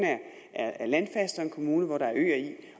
er landfast og en kommune hvor der er øer i